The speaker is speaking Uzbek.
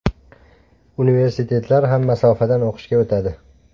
Universitetlar ham masofadan o‘qishga o‘tadi.